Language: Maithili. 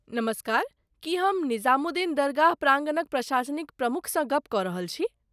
नमस्कार, की हम निजामुद्दीन दरगाह प्राङ्गणक प्रसाशनिक प्रमुखसँ गप्प कऽ रहल छी?